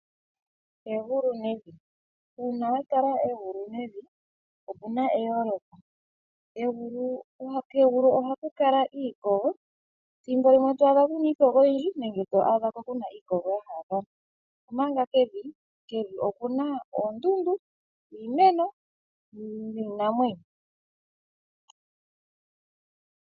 Egulu nevi. Uuna wa tala egulu nevi opu na eyooloko. Kegulu ohaku kala iikogo. Ethimbo limwe oto adha ku na iikogo oyindji nethimbo limwe oto adha ku na iikogo yomalompalompa, omanga kevi oku na oondundu, iimeno niinamwenyo.